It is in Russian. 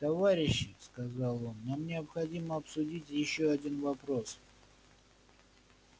товарищи сказал он нам необходимо обсудить ещё один вопрос